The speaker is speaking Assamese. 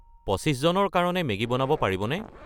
২৫ জনৰ কাৰণে মেগী বনাব পাৰিবনে?